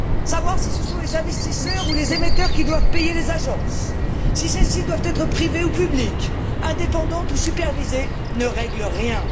Savoir si ce sont les investisseurs ou les émetteurs qui doivent payer les agences, si celles ci doivent être privées ou publiques, indépendantes ou supervisées, ne règle rien.